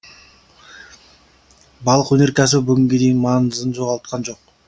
балық өнеркәсібі бүгінге дейін маңызын жоғалтқан жоқ